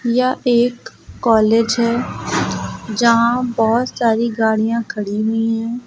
यह एक कॉलेज है जहां बहुत सारी गाड़ियां खड़ी हुई हैं।